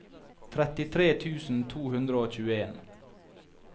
trettitre tusen to hundre og tjueen